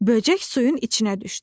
Böcək suyun içinə düşdü.